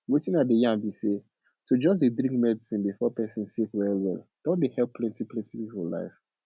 wetin i dey yan bi say to just dey drink medicine before pesin sick well well don help plenti plenti people life